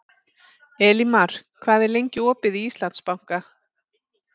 Elímar, hvað er lengi opið í Íslandsbanka?